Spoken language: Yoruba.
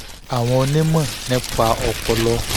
àwọn onímọ̀ nípa ọpọlọ